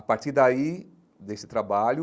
A partir daí, desse trabalho,